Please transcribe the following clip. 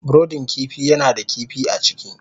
brudin kifi yana da kifi a ciki.